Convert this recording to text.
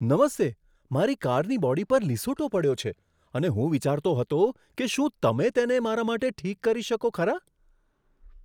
નમસ્તે! મારી કારની બોડી પર લીસોટો પડ્યો છે અને હું વિચારતો હતો કે શું તમે તેને મારા માટે ઠીક કરી શકો ખરા?